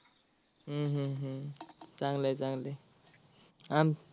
हम्म हम्म हम्म चांगलं आहे चांगलं आहे. अं